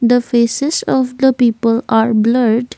the faces of the people are blurred.